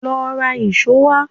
Lọ ra ìṣó wá.